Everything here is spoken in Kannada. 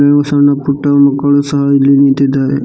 ಹಲವು ಸಣ್ಣ ಪುಟ್ಟ ಮಕ್ಕಳು ಸಹ ಇಲ್ಲಿ ನಿಂತಿದ್ದಾರೆ.